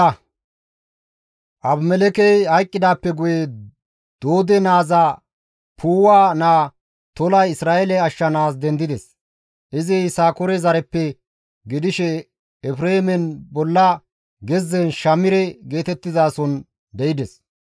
Abimelekkey hayqqidaappe guye Doode naaza Puuwa naa Tolay Isra7eele ashshanaas dendides. Izi Yisakoore zareppe gidishe Efreemen bolla gezzen Shamire geetettizason de7ides.